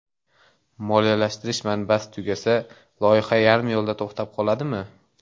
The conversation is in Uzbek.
Moliyalashtirish manbasi tugasa, loyiha yarim yo‘lda to‘xtab qoladimi?